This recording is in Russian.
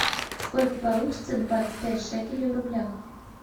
сколько получится двадцать пять шекелей в рублях